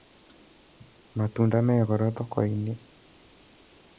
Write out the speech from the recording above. Matunda me goro thoko-inĩ